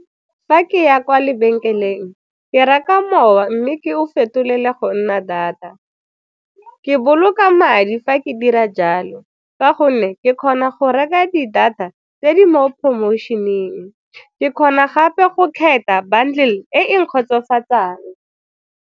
Fa ke ya kwa lebenkeleng ke reka mowa mme ke o fetolela go nna data. Ke boloka madi fa ke dira jalo ka gonne ke kgona go reka di-data tse di mo promotion-eng, ke kgona gape go kgetha bundle e e nkgotsofatsang.